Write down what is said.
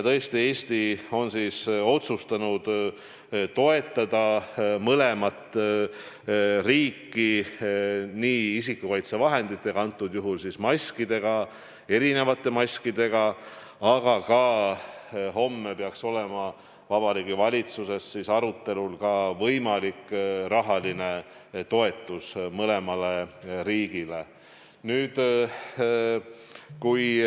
Tõesti, Eesti on otsustanud toetada mõlemat riiki isikukaitsevahenditega, konkreetsel juhul maskidega, erinevate maskidega, aga homme peaks olema Vabariigi Valitsuses arutusel ka võimalik rahaline toetus mõlemale riigile.